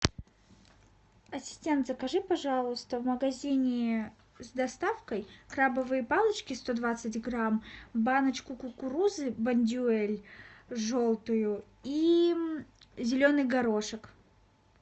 ассистент закажи пожалуйста в магазине с доставкой крабовые палочки сто двадцать грамм баночку кукурузы бондюэль желтую и зеленый горошек